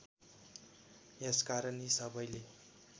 यसकारण यी सबैले